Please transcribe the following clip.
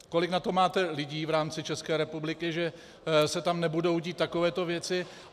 Kolik na to máte lidí v rámci České republiky, že se tam nebudou dít takové věci?